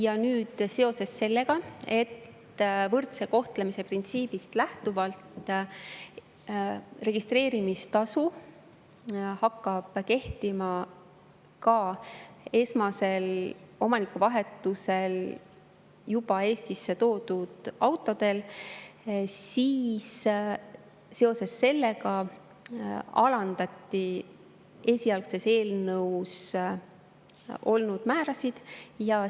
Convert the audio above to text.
Aga nüüd seoses sellega, et võrdse kohtlemise printsiibist lähtuvalt hakkab registreerimistasu kehtima ka esmasel omanikuvahetusel juba Eestis olevatel autodel, alandati esialgses eelnõus olnud määrasid.